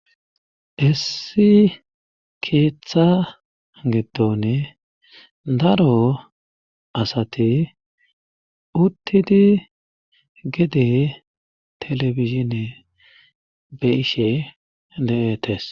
Issi keeththa giddone daro asati uttidi gede telebizhine be ishe de'etes.